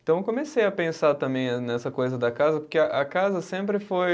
Então, eu comecei a pensar também nessa coisa da casa, porque a casa sempre foi